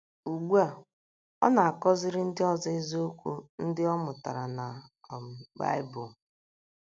Ugbu a, ọ na - akọziri ndị ọzọ eziokwu ndị ọ mụtara na um Baịbụl.